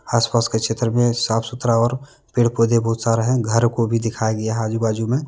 आस पास का क्षेत्र में साफ सुथरा और पेड़ पौधे बहुत सारे हैं घर को भी दिखाया गया आजू बाजू में।